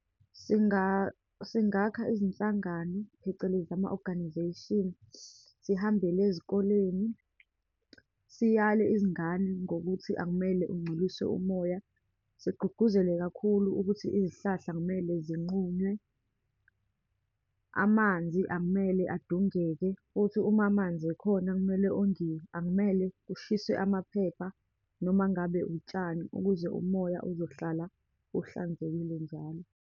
Singakha izinhlangano, phecelezi ama-organisation, sihambele ezikoleni, siyale izingane ngokuthi akumele ungcolise umoya, sigqugquzele kakhulu ukuthi izihlahla akumele zinqunywe, amanzi akumele adungeke. Futhi uma amanzi ekhona, kumele ongiwe. Akumele kushiswe amaphepha, noma ngabe utshani, ukuze umoya uzohlala uhlanzekile njalo.